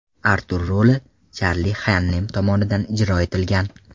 Artur roli Charli Xannem tomonidan ijro etilgan.